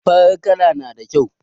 Farar kala na da kyau.